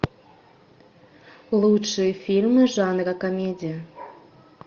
лучшие фильмы жанра комедия